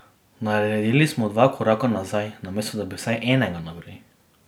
Naredili smo dva koraka nazaj, namesto da bi vsaj enega naprej.